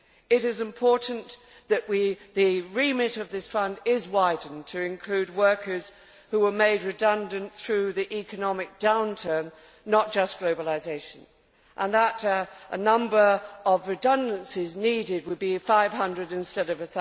It is important that the remit of this fund is widened to include workers who were made redundant through the economic downturn, not just globalisation, and that the number of redundancies needed would be 500 instead